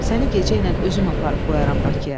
Səni gecə ilə özüm aparıb qoyaram Bakıya."